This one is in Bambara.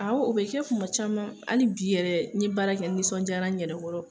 Awɔ o bɛ kɛ kuma caman hali bi yɛrɛ n ye baara kɛ n nisɔndiyara n yɛrɛ kɔrɔ.